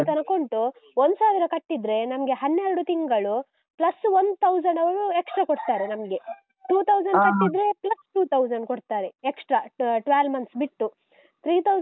ತನಕ ಉಂಟು. ಒಂದ್ಸಾವಿರ ಕಟ್ಟಿದ್ರೆ, ನಮ್ಗೆ ಹನ್ನೆರಡು ತಿಂಗಳು, plus one thousand ಅವ್ರು extra ಕೊಡ್ತಾರೆ ನಮ್ಗೆ. two thousand ಕಟ್ಟಿದ್ರೆ plus two thousand ಕೊಡ್ತಾರೆ, extra ಆ, twelve month ಬಿಟ್ಟು three thousand .